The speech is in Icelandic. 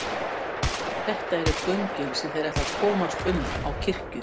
Þetta eru göngin sem þeir ætla að komast um á kirkju.